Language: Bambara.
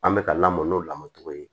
An bɛ ka lamɔ n'o lamɔ cogo ye